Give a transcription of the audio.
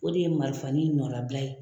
O de ye marifani nɔnnabila ye.